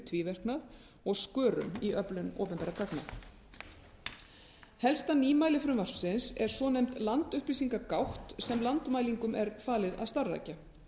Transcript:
tvíverknað og skörun í öflun opinberra gagna helsta nýmæli frumvarpsins er svonefnd landupplýsingagátt sem landmælingum er falið að starfrækja